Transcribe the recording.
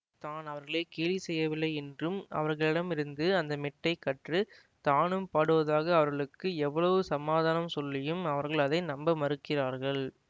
தான் அவர்களை கேலி செய்யவில்லையென்றும் அவர்களிடமிருந்து அந்த மெட்டைக் கற்று தானும் பாடுவதாக அவர்களுக்கு எவ்வளவு சமாதானம் சொல்லியும் அவர்கள் அதை நம்ப மறுக்கிறார்கள்